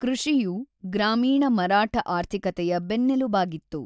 ಕೃಷಿಯು ಗ್ರಾಮೀಣ ಮರಾಠ ಆರ್ಥಿಕತೆಯ ಬೆನ್ನೆಲುಬಾಗಿತ್ತು.